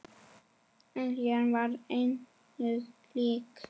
Eljan var engu lík.